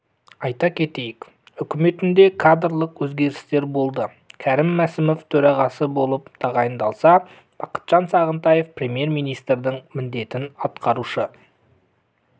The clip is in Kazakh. айта кетейік үкіметінде кадрлық өзгерістер болды кәрім мәсімов төрағасы болып тағайындалса бақытжан сағынтаев премьер-министрдің міндетін атқарушы